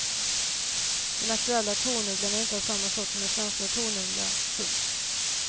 Den aktuella tornugglan är inte av samma sort som den svenska tornugglan. punkt